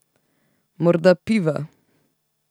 Morda piva.